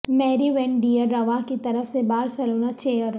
میری van der Rohe کی طرف سے بارسلونا چیئر